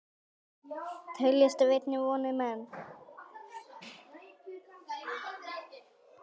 tælast af einni vondir menn